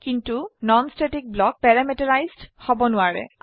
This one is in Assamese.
কিন্তু নন স্ট্যাটিক ব্লক পেৰামিটাৰাইজড হব নোৱাৰে